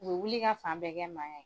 U bi wuli ka fan bɛɛ kɛ mankan ye.